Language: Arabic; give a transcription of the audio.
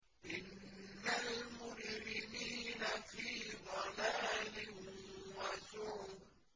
إِنَّ الْمُجْرِمِينَ فِي ضَلَالٍ وَسُعُرٍ